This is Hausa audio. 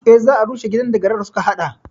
Eh, za a rushe gidan da garar suka haɗa